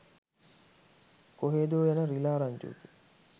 කොහේද යන රිළා රංචුවකින්